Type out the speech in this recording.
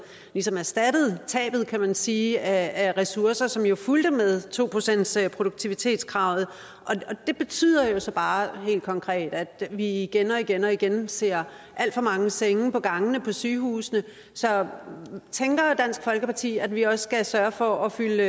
ligesom erstattet tabet kan man sige af ressourcer som jo fulgte med to procentsproduktivitetskravet og det betyder så bare helt konkret at vi igen og igen og igen ser alt for mange senge på gangene på sygehusene så tænker dansk folkeparti at vi også skal sørge for at fylde